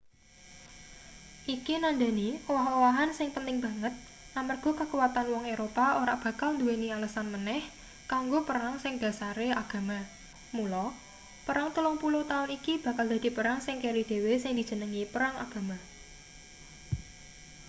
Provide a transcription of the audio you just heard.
iki nandhani owah-owahan sing penting banget amarga kakuwatan wong eropa ora bakal nduweni alesan maneh kanggo perang sing dhasare agama mula perang telung puluh taun iki bakal dadi perang sing keri dhewe sing dijenengi perang agama